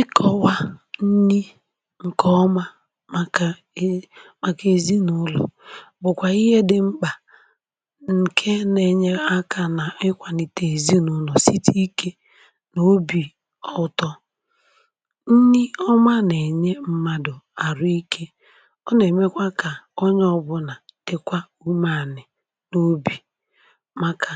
ikọ̀wà nni ǹkè ọma màkà ii, màkà èzinụlọ̀, bụ̀kwà ihe dị̇ mkpà, ǹkè n’ènye akȧ nà ikwàlìtè èzinụlọ̀ site n’ikė n’obì ọtọ. nni ọma nà-ènye mmadụ̀ àrụ ikė, ọ nà-èmekwa kà onye ọbụ̇nà dịkwa ụmụ̀ànị̀ n’obì, um màkà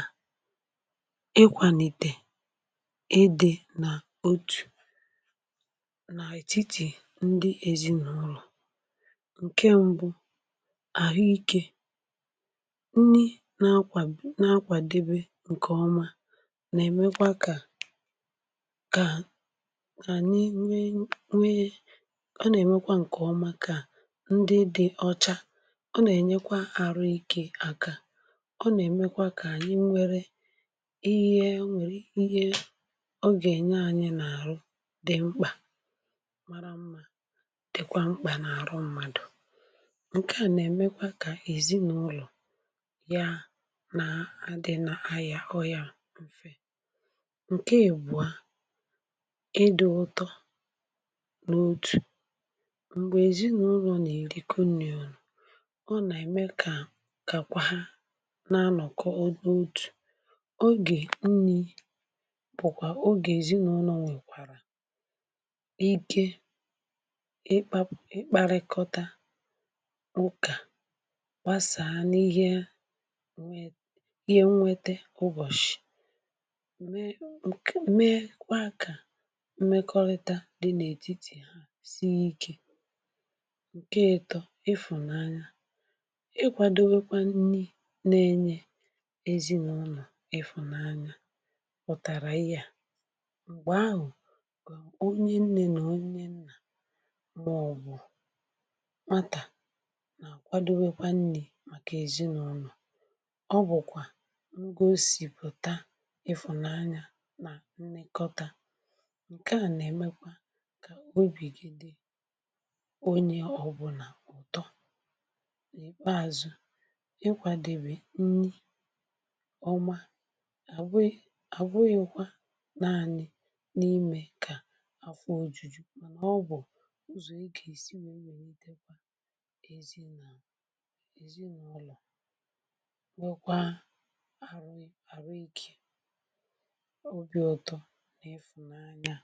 nà ètiti ndị èzinụlọ̀. ǹkè mbụ bụ̀ àhụ ikė nni nà akwà na akwàdebe ǹkè ọma, nà-èmekwa kà ànyị nwe nwee, ọ nà-èmekwa ǹkè ọma kà ndị dị ọcha. ọ nà-ènyekwa àrụ ikė àkà, ọ nà-èmekwa kà ànyị nwere ihe o nwèrè, ihe mara mmȧ, dịkwa mkpà n’àrụ mmadụ̀. ǹkè à nà-èmekwa kà èzinụlọ̀ ya nà-adị̇ n’ayà ọyà mfe, ǹke ègbua ịdị̇ ụtọ n’otù m̀gbè èzinụlọ̀ nà-èrikwanù. ọ nà-ème kà kàkwaa na-anọ̀kọ ọdụ̇ otù, ọ gà-enyikwazị ike ikpakpakarịkọrịta ukà gbasàà n’ihìe, nwete ụbọ̀shị̀, mee kwa kà mmekọrịta dị n’ètitì ha ziye ike, ǹke etọ̇ ịfụ̀nanya. ịkwàdowekwa nni nà-enye èzinụlọ̀ ịfụ̀nanya, um pụ̀tàrà ihe à — onye nnè nà onye nnà màọbụ̀ mata nà àkwadobėkwa nni̇ màkà èzinụlọ̀. ọ bụ̀kwà ngȯsìpụ̀ta ịfụ̀nanya nà nlekọta, ǹke à nà-èmekwa kà obìgide onye ọ̀bụlà ụ̀tọ. ebeazụ̇ ikwàdèbè nni ọma àbụyụ àbụyụ̇kwȧ naanị̇ ọ bụ̀ ụzọ̀ eke isi nwere n’itekwa èzinụlọ̀ nwekwaa arụ, àrụ ikė, ọ bịọ̇ ụtọ̇ n’ịfụ̀nanya.